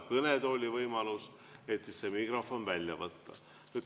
Mitte kohapeal, aga kõnetoolis kõnelejal.